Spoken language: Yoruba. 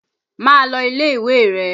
Máa lọ ilé-ìwé rẹ!